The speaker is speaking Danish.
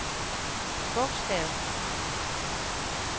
bogstav